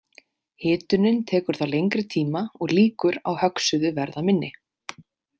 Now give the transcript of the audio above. Hitunin tekur þá lengri tíma og líkur á höggsuðu verða minni.